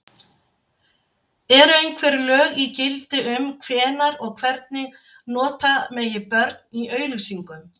Eru einhver lög í gildi um hvenær og hvernig nota megi börn í auglýsingum?